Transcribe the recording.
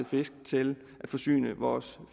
fisk til at forsyne vores